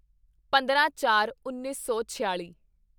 ਪੰਦਰਾਂਚਾਰਉੱਨੀ ਸੌ ਛਿਆਲੀ